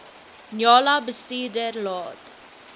njala bestuurder laat